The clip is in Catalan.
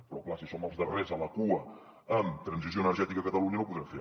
però clar si som els darrers de la cua en transició energètica a catalunya no ho podrem fer